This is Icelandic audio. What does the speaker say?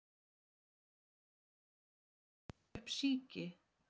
Kannski vilja þeir setja upp síki